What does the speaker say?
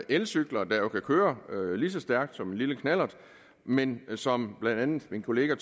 elcykler der jo kan køre lige så stærkt som en lille knallert men som blandt andet min kollega